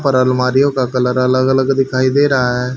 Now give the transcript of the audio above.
पर अलमारियों का कलर अलग अलग दिखाई दे रहा हैं।